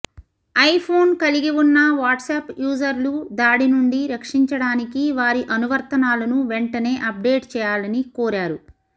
iPhone కలిగి ఉన్న WhatsApp యూజర్లు దాడి నుండి రక్షించడానికి వారి అనువర్తనాలను వెంటనే అప్డేట్ చేయాలని కోరారు